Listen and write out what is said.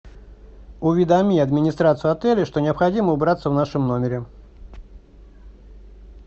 уведоми администрацию отеля что необходимо убраться в нашем номере